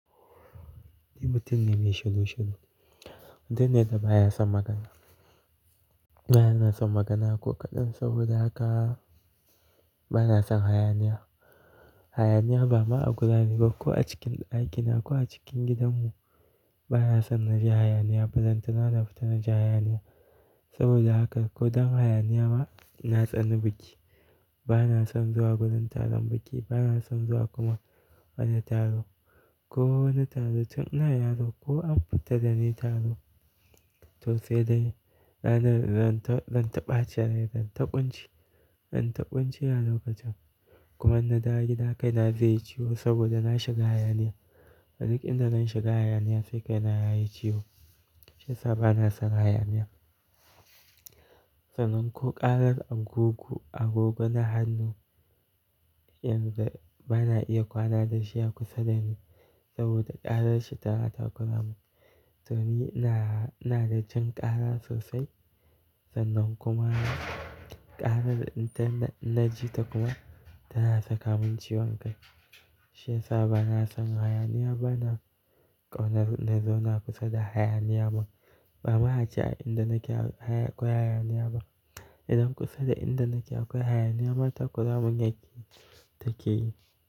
Solution. Baya son magana. Ba na son magana ko kaɗan saboda haka ba na son hayaniya. Hayaniya ba ma a guri garku a cikin aikinako a cikin gidanmu. Ba na son naji hayaniya, ba zan tuna na fita naji hayaniya. Saboda haka ko don hayaniya ma, na tsani biki. Ba na son zuwa gudun taron biki, ba na son zuwa kuma wani taro. Ko wani taro tun ina yaro ko an fita da ni taro to sai dai zan ta ɓacin rai, zan ta ƙunci. Zan ta ƙunci a lokacin. Kuma in na dawo gida kai na zai ciwo saboda na shiga hayaniya. A duk inda zan shiga hayaniya sai kai na yayi ciwo. Shi yasa ba na son hayaniya. Sannan ko ƙarar agogo, agogo na hannu, inda ba na iya kwana da shi a kusa dani saboda ƙarar shi ta rata guduma. To ni ina da jin ƙara sosai sannan kuma ƙarar da in naji ta kuma tana saka mun ciwon kai. Shi yasa ba na son hayaniya, bana ƙaunar na zauna kusa da hayaniya ba. Ba ma a ce a inda nake akwai hayaniya ba. Idan kusa da inda nake akwai hayaniya mata guduma gyaƙi take yi.